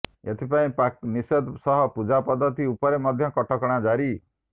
ଏଥିପାଇଁ ପାକ ନିଷେଧ ସହ ପୂଜା ପଦ୍ଧତି ଉପରେ ମଧ୍ୟ କଟକଣା ଜାରି